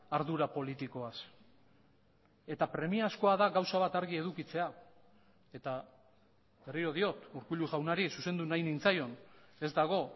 ardura politikoaz eta premiazkoa da gauza bat argi edukitzea eta berriro diot urkullu jaunari zuzendu nahi nintzaion ez dago